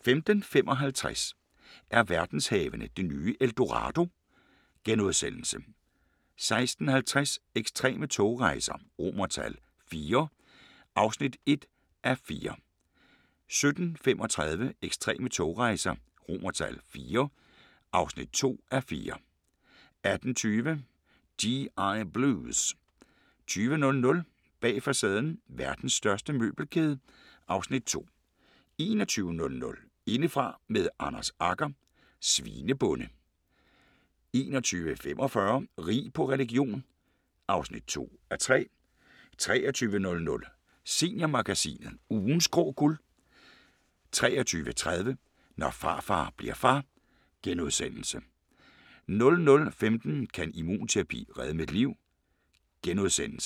15:55: Er verdenshavene det nye El Dorado? * 16:50: Ekstreme togrejser IV (1:4) 17:35: Ekstreme togrejser IV (2:4) 18:20: G.I. Blues 20:00: Bag facaden: Verdens største møbelkæde (Afs. 2) 21:00: Indefra med Anders Agger – Svinebonde 21:45: Rig på religion (2:3) 23:00: Seniormagasinet – Ugens grå guld 23:30: Når farfar bli'r far * 00:15: Kan immunterapi redde mit liv? *